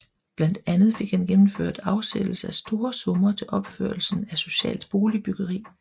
Blandt andet fik han gennemført afsættelse af store summer til opførelsen af socialt boligbyggeri